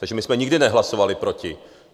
Takže my jsme nikdy nehlasovali proti.